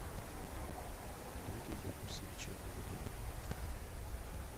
олеге юнусовиче рылове